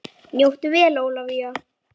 Njóttu vel Ólafía!